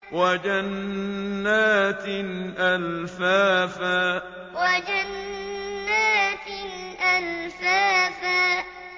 وَجَنَّاتٍ أَلْفَافًا وَجَنَّاتٍ أَلْفَافًا